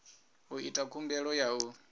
u ita khumbelo ya u